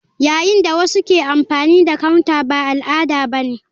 Yayin da wasu ke amfani da counter ba al'ada ba ne.